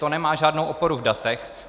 To nemá žádnou oporu v datech.